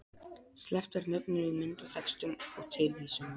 Sleppt er nöfnum í myndatextum og tilvísunum